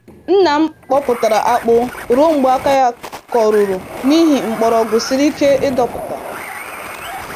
Nna m kpọpụtara akpụ ruo mgbe aka ya koruru n'ihi mgbọrọgwụ siri ike ịdọpụta.